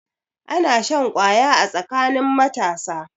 Ana shan kwaya a tsakanin matasa.